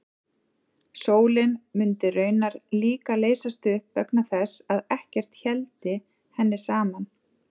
Sólin mundi raunar líka leysast upp vegna þess að ekkert héldi henni saman.